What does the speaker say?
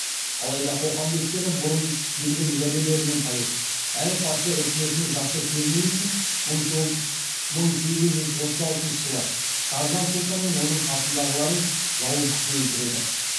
алайда қоқан бектері бұрын берген уәделерінен тайып әрі патша өкіметіне жақсы көріну үшін мың сегіз жүз отыз алтыншы жылы саржан сұлтан мен оның қасындағыларын жауыздықпен өлтіреді